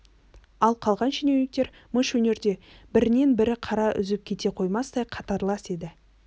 ал қалған шенеуніктер мыш өнерде бірінен бірі қара үзіп кете қоймастай қатарлас еді